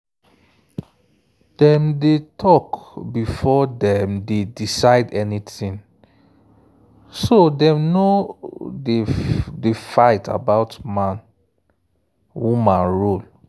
dem dey talk before dem decide anything so dem no dey fight about man-woman role.